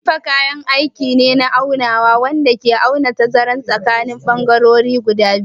Kalifa kayan aiki ne na aunawa wanda ke auna tazarar tsakanin bangarorin biyu.